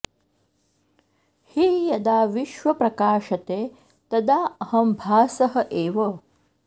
हि यदा विश्व प्रकाशते तदा अहं भासः एव